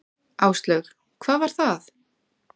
Áslaug: Hvað var það?